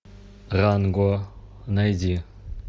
ранго найди